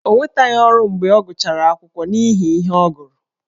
Ọ nwetaghị ọrụ mgbe ọ gụchara akwụkwọ n’ihi ihe ọ gụrụ.